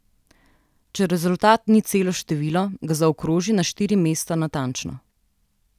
Če rezultat ni celo število, ga zaokroži na štiri mesta natančno.